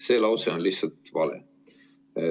" See lause on lihtsalt vale.